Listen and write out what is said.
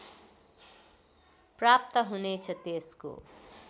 प्राप्त हुनेछ त्यसको